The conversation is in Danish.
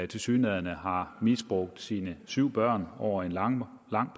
tilsyneladende har misbrugt sine syv børn mange over en lang